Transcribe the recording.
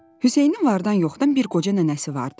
Hüseynin vardan yoxdan bir qoca nənəsi vardı.